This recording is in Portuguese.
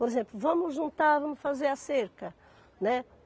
Por exemplo, vamos juntar, vamos fazer a cerca, né?